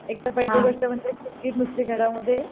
एकतर पहिली गोष्ट म्हणजे पुरगी नुसती घरामध्ये